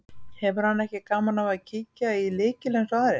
Hefur hann ekki gaman af að kíkja í lykil eins og aðrir.